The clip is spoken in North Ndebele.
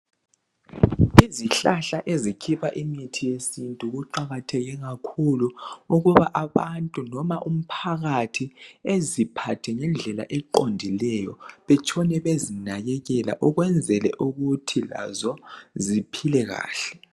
Izihlahla ezikhipha imithi yesintu kuqakatheke kakhulu ukuba abantu noma umphakathi beziphathe ngendlela eqondileyo betshone bezinakekela ukwenzela ukuthi lazo ziphile kahle.